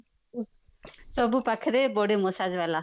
ସବୁ ପାଖରେ body massage ଵାଲା